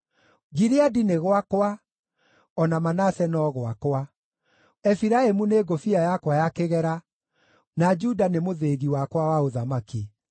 Gileadi nĩ gwakwa, o na Manase no gwakwa; Efiraimu nĩ ngũbia yakwa ya kĩgera, na Juda nĩ mũthĩgi wakwa wa ũthamaki.